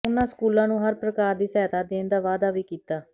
ਉਨ੍ਹਾਂ ਸਕੂਲ ਨੂੰ ਹਰ ਪ੍ਰਕਾਰ ਦੀ ਸਹਾਇਤਾ ਦੇਣ ਦਾ ਵਾਅਦਾ ਵੀ ਕੀਤਾ